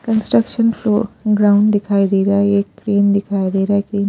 construction floor ground दिखाई दे रहा है ये क्रेन दिखाई दे रहा है कि--